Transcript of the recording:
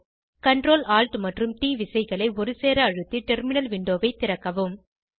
Ctrl Alt மற்றும் ட் விசைகளை ஒரு சேர அழுத்தி டெர்மினல் விண்டோவை திறக்கவும்